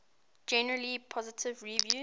generally positive reviews